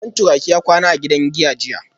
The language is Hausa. Santuraki ya kwana a gidan giya jiya